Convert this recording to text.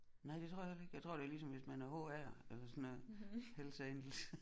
Nej det tror jeg heller ikke jeg tror det er ligesom hvis man er HA'er eller hvis man er Hells Angels